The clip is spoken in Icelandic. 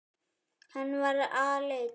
Hann var aleinn.